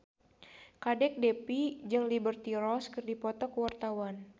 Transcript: Kadek Devi jeung Liberty Ross keur dipoto ku wartawan